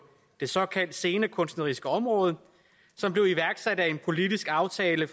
det såkaldte scenekunstneriske område som blev iværksat af en politisk aftale